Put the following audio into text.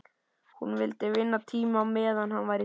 Hún vildi vinna tíma á meðan hann var í dái.